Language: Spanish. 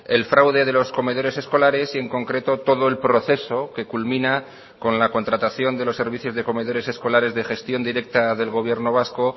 el fraude de los comedores escolares y en concreto todo el proceso que culmina con la contratación de los servicios de comedores escolares de gestión directa del gobierno vasco